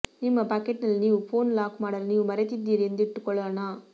ನಿಮ್ಮ ಪಾಕೆಟ್ನಲ್ಲಿ ನೀವು ಫೋನ್ ಲಾಕ್ ಮಾಡಲು ನೀವು ಮರೆತಿದ್ದೀರಿ ಎಂದಿಟ್ಟುಕೊಳ್ಳೋಣ